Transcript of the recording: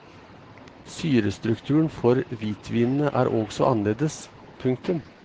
Syrestrukturen for hvitvinene er også annerledes. punktum